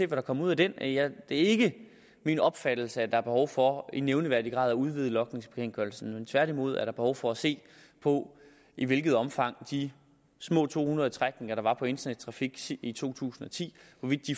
der kommer ud af den det er ikke min opfattelse at der er behov for i nævneværdig grad at udvide logningsbekendtgørelsen tværtimod er der behov for at se på i hvilket omfang de små to hundrede trækninger der var på internettrafik i to tusind og ti